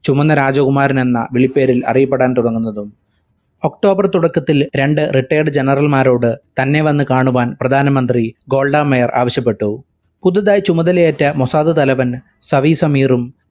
ചുമന്ന രാജകുമാരനെന്ന വിളിപ്പേരിൽ അറിയപ്പെടാൻ തുടങ്ങുന്നതും. october തുടക്കത്തിൽ രണ്ട് retired general മാരോട് തന്നെ വന്നു കാണുവാൻ പ്രധാനമന്ത്രി ഗോൾഡ മേയർ ആവശ്യപ്പെട്ടു. പുതുതായി ചുമതലയേറ്റ മൊസാദ് തലവൻ സവീർ സമീറും